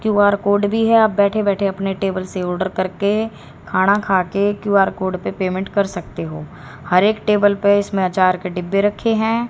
Q R code भी है आप बैठे बैठे अपने टेबल से आर्डर करके खाना खाके क्यू_आर कोड पे पेमेंट कर सकते हो हर एक टेबल पे इसमें अचार के डिब्बे रखे हैं।